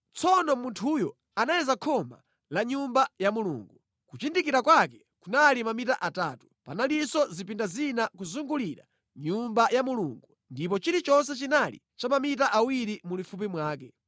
Tsono munthuyo anayeza khoma la Nyumba ya Mulungu; kuchindikira kwake kunali mamita atatu. Panalinso zipinda zina kuzungulira Nyumba ya Mulungu ndipo chilichonse chinali cha mamita awiri mulifupi wake.